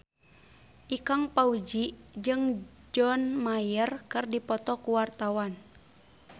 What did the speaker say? Ikang Fawzi jeung John Mayer keur dipoto ku wartawan